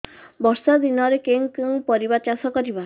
ବର୍ଷା ଦିନରେ କେଉଁ କେଉଁ ପରିବା ଚାଷ କରିବା